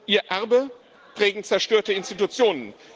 Ihr Erbe prägen zerstörte Institutionen.